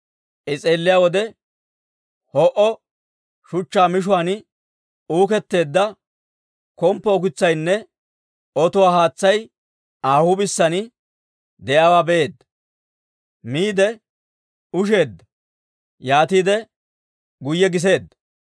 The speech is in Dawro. I s'eelliyaa wode, ho'o shuchchaa mishuwaan uuketteedda komppo ukitsaynne otuwaa haatsay Aa huup'isaan de'iyaawaa be'eedda. Miide usheeddanne; yaatiide guyye giseedda.